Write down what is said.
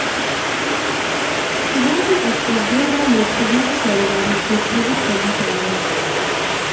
सुबह से अब तक दो बार लोकसभा की कार्यवाही को स्थगित करना पड़ा है